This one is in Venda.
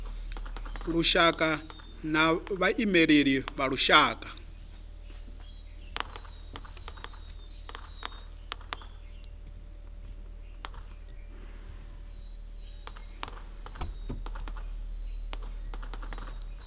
lushaka na vhaimeleli vha lushaka